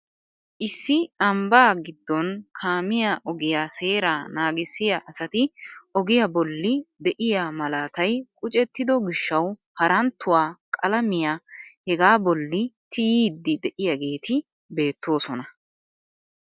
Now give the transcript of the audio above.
Issi ambaa giddon kaamiyaa ogiyaa seeraa nagissiyaa asati ogiyaa bolli de'iyaa malatay qucettido gishshawu haranttuwaa qalamiyaa hegaa bolli tiyiidi de'iyaageti beettoosona!